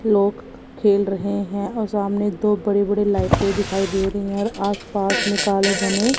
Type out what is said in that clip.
लोग खेल रहे हैं और सामने दो बड़े बड़े लाइटें दिखाई दे रहे हैं और आसपास में काले घने--